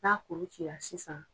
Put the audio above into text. N'a kulu cira sisan